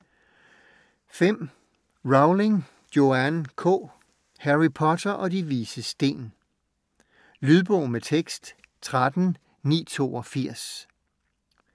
Rowling, Joanne K.: Harry Potter og De Vises Sten Lydbog med tekst 13982